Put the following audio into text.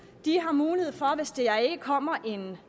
de har mulighed for hvis der ikke kommer en